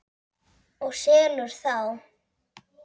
Og selur þá.